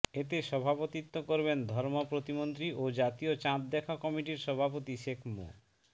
এতে সভাপতিত্ব করবেন ধর্ম প্রতিমন্ত্রী ও জাতীয় চাঁদ দেখা কমিটির সভাপতি শেখ মো